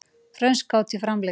Frönsk hátíð framlengd